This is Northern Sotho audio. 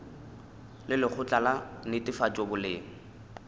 le lekgotla la netefatšo boleng